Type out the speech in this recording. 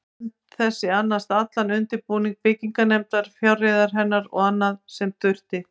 Nefnd þessi annaðist allan undirbúning byggingarinnar, fjárreiður hennar og annað, sem þurfti.